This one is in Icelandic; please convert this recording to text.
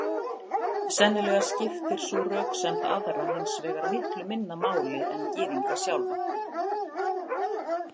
Sennilega skiptir sú röksemd aðra hins vegar miklu minna máli en Gyðinga sjálfa.